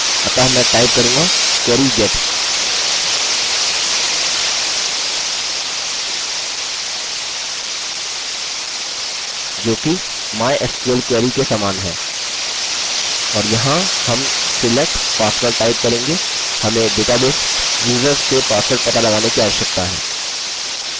अतः मैं टाइप करूँगा query get जो कि mysql query के समान है और यहाँ हम select password टाइप करेंगे हमें डेटाबेस users से पासवर्ड पता लगाने की आवश्यकता है